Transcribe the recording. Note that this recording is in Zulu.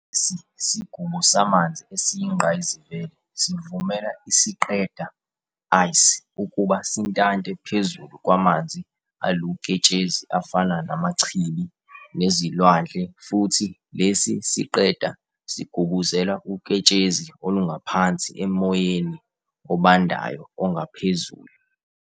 Lesi sigubo samanzi esiyingqayizivele sivumela isiqeda, ice, ukuba sintante phezulu kwamanzi aluketshezi afana namachibi, nezilwandle, futhi lesi siqeda sigubuzela uketshezi olungaphansi emoyeni obandayo ongaphezulu.